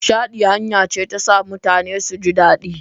Nishaɗi hanya ce ta sa mutane su ji daɗi.